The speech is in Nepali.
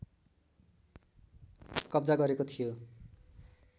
कब्जा गरेको थियो